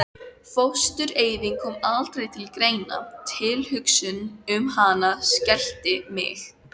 Fóstureyðing kom aldrei til greina, tilhugsun um hana skelfdi mig.